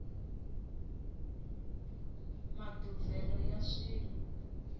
maduvhelo ya swilo